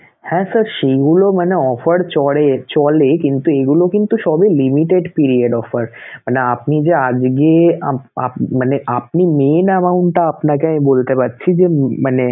হ্যা sir সেইগুলোও মানে offer চড়ে~ চলে কিন্তু এগুলো কিন্তু সবই limited period offer মানে আপনি যে আজগে মানে আপনি main amount টা আপনাকে আমি বলতে পারছি যে মানে